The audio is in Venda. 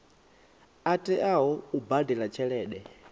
a teaho u badela tshelede